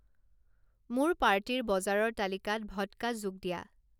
মোৰ পাৰ্টিৰ বজাৰৰ তালিকাত ভদ্কা যোগ দিয়া